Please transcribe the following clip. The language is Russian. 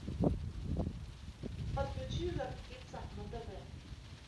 подключи жар птица на тв